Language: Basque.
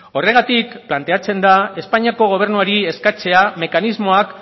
horregatik planteatzen da espainiako gobernuari eskatzea mekanismoak